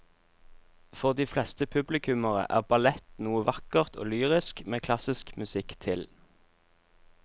For de fleste publikummere er ballett noe vakkert og lyrisk med klassisk musikk til.